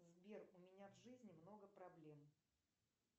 сбер у меня в жизни много проблем